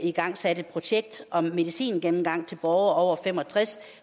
igangsat et projekt om medicingennemgang til borgere over fem og tres